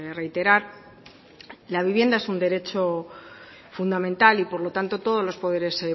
reiterar la vivienda es un derecho fundamental y por lo tanto todos los poderes